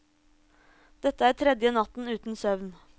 Dette er tredje natten uten søvn.